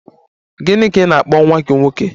Gịnị ka ị na-akpọ nwa gị nwoke?